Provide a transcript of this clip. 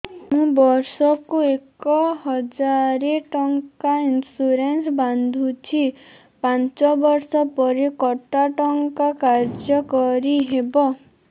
ମୁ ବର୍ଷ କୁ ଏକ ହଜାରେ ଟଙ୍କା ଇନ୍ସୁରେନ୍ସ ବାନ୍ଧୁଛି ପାଞ୍ଚ ବର୍ଷ ପରେ କଟା ଟଙ୍କା କାର୍ଯ୍ୟ କାରି ହେବ